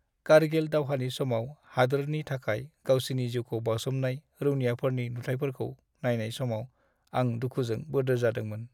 कार्गिल दावहानि समाव हादोरनि थाखाय गावसिनि जिउखौ बावसोमनाय रौनियाफोरनि नुथाइफोरखौ नायनाय समाव आं दुखुजों बोदोर जादोंमोन।